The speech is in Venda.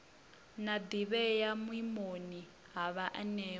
na ḓivhea vhuimoni ha vhaanewa